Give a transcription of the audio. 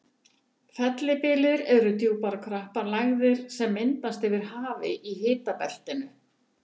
Fellibyljir eru djúpar og krappar lægðir sem myndast yfir hafi í hitabeltinu.